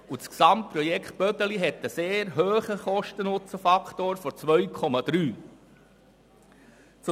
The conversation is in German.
Das gesamte Projekt Bödeli hat einen sehr hohen Kosten-Nutzen-Faktor von 2,3.